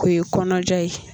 O ye kɔnɔja ye